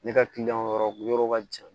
Ne ka kiliyanw yɔrɔ u yɔrɔ ka jan